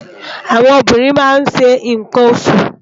Áwòn óbìrín má n ṣé nkán óṣú